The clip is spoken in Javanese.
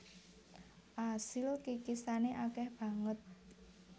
Asil kikisane akeh banget